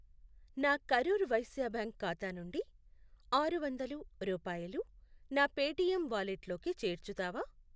నా కరూర్ వైశ్య బ్యాంక్ ఖాతా నుండి ఆరు వందలు రూపాయలు నా పేటిఎమ్ వాలెట్లోకి చేర్చుతావా?